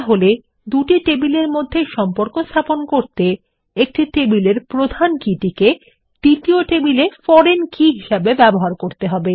তাহলে দুটি টেবিলের মধ্যে সম্পর্ক স্থাপন করতে একটি টেবিল এর প্রধান কী টিকে দ্বিতীয় টেবিলে ফরেন কী হিসাবে ব্যবহার করতে হবে